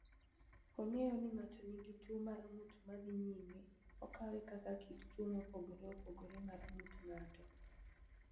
"Ong’eyo ni ng’ato nigi tuwo mar ng’ut ma dhi nyime, okawe kaka kit tuwo mopogore opogore mar ng’ut ng’ato (ALS)."